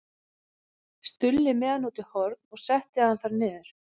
Stulli með hann út í horn og setti hann þar niður.